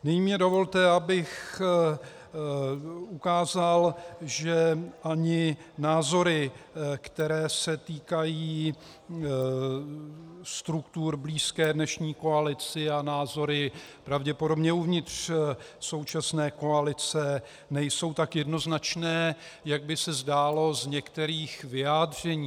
Nyní mi dovolte, abych ukázal, že ani názory, které se týkají struktur blízkých dnešní koalici, a názory pravděpodobně uvnitř současné koalice nejsou tak jednoznačné, jak by se zdálo z některých vyjádření.